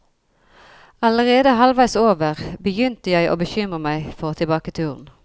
Allerede halvveis over, begynt jeg og bekymre meg for tilbake turen.